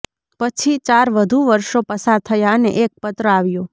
પછી ચાર વધુ વર્ષો પસાર થયા અને એક પત્ર આવ્યો